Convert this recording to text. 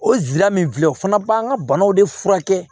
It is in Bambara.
O lila min filɛ o fana b'an ka banaw de furakɛ